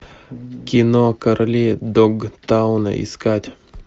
кино короли догтауна искать